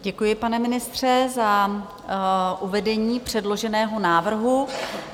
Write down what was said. Děkuji, pane ministře, za uvedení předloženého návrhu.